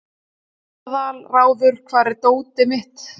Aðalráður, hvar er dótið mitt?